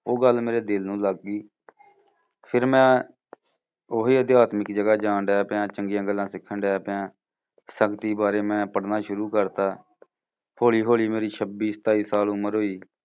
ਉਹ ਗੱਲ ਮੇਰੇ ਦਿਲ ਨੂੰ ਲੱਗ ਗਈ। ਫਿਰ ਮੈਂ, ਓਹੀ ਅਧਿਆਤਮਿਕ ਜਗ੍ਹਾ ਜਾਣ ਡਿਆ ਪਿਆ, ਚੰਗੀਆਂ ਗੱਲਾਂ ਸਿੱਖਣ ਡਿਆ ਪਿਆ। ਸੰਗਤੀ ਬਾਰੇ ਮੈਂ ਪੜ੍ਹਨਾ ਸ਼ੁਰੂ ਕਰਤਾ। ਹੌਲੀ ਹੌਲੀ ਮੇਰੀ ਛੱਬੀ ਸਤਾਈ ਸਾਲ ਉਮਰ ਹੋਈ